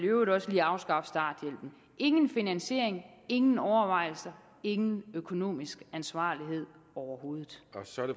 øvrigt også vil afskaffe starthjælpen ingen finansiering ingen overvejelser ingen økonomisk ansvarlighed overhovedet